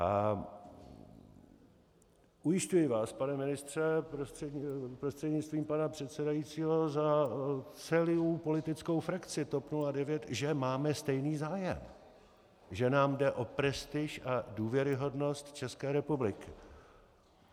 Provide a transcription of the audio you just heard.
A ujišťuji vás, pane ministře prostřednictvím pana předsedajícího, za celou politickou frakci TOP 09, že máme stejný zájem, že nám jde o prestiž a důvěryhodnost České republiky.